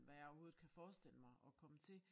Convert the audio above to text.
Hvad jeg overhovedet kan forestille mig at komme til